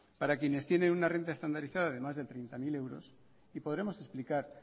para quienes tienen una renta estandarizada de más de treinta mil y podremos explicar